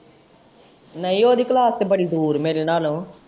ਨਹੀਂ ਓਹਦੀ ਕਲਾਸ ਤੇ ਬੜੀ ਦੂਰ ਏ, ਮੇਰੇ ਨਾਲੋਂ।